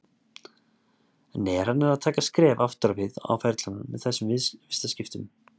En er hann að taka skref aftur á við á ferlinum með þessum vistaskiptum?